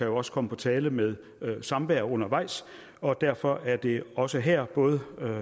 også komme på tale med samvær undervejs og derfor er det også her både